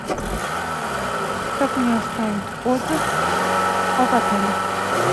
как мне оставить отзыв об отеле